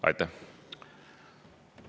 Aitäh!